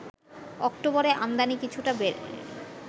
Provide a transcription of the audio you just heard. অক্টোবরে আমদানি কিছুটা বেড়ে